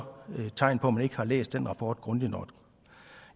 tegn på at man ikke har læst den rapport grundigt nok